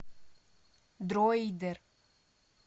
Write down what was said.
дроидер